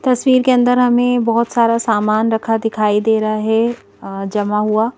तस्वीर के अंदर हमें बहुत सारा सामान रखा दिखाई दे रहा है अ जमा हुआ--